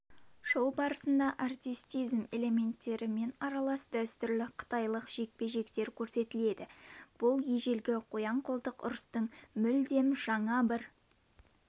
шоу барысында артистизм элементтерімен аралас дәстүрлі қытайлық жекпе-жектер көрсетіледі бұл ежелгі қоян-қолтық ұрыстың мүлдем жаңа бір